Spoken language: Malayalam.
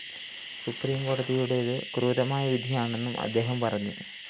സുപ്രീംകോടതിയുടേത്‌ ക്രൂരമായ വിധിയാണെന്നും അദ്ദേഹം പറഞ്ഞു